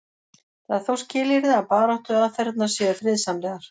það er þó skilyrði að baráttuaðferðirnar séu friðsamlegar